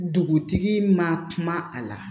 Dugutigi man kuma a la